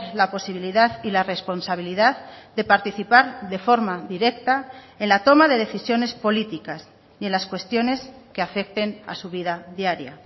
la posibilidad y la responsabilidad de participar de forma directa en la toma de decisiones políticas y en las cuestiones que afecten a su vida diaria